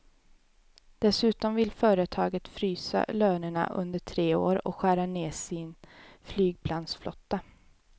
Dessutom vill företaget frysa lönerna under tre år och skära ner sin flygplansflotta.